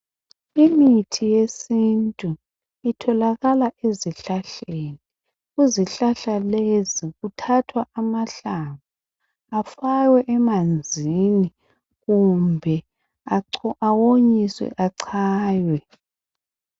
Imithi yesintu itholakala ezihlahleni. Kuzihlahla lezi kuthathwa amahlamvu. Afakwe emanzini, kumbe awonyiswe, achaywe,